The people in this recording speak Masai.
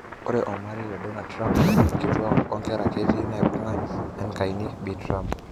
Ore omarei le Donald Trump:Nkitwak wo ngeraa ketii naibunga enkaina Bi Trump.